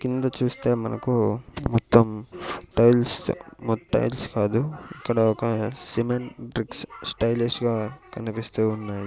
కింద చూస్తే మనకు మొత్తం టైల్స్ మొ టైల్స్ కాదు ఇక్కడ ఒక సిమెంట్ బ్రిక్స్ స్టైలిష్ గా కనిపిస్తూ ఉన్నాయి.